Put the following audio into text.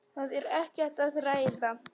Það er ekkert að ræða.